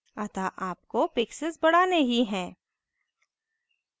अतः आपको pixels बढ़ाने ही हैं